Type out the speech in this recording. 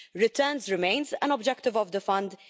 Returns remain an objective of the Fund.